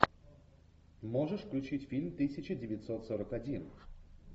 можешь включить фильм тысяча девятьсот сорок один